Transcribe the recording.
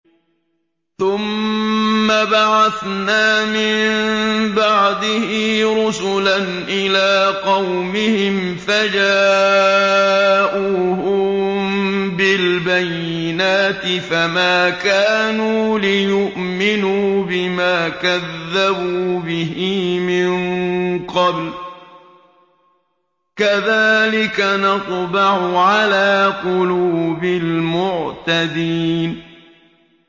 ثُمَّ بَعَثْنَا مِن بَعْدِهِ رُسُلًا إِلَىٰ قَوْمِهِمْ فَجَاءُوهُم بِالْبَيِّنَاتِ فَمَا كَانُوا لِيُؤْمِنُوا بِمَا كَذَّبُوا بِهِ مِن قَبْلُ ۚ كَذَٰلِكَ نَطْبَعُ عَلَىٰ قُلُوبِ الْمُعْتَدِينَ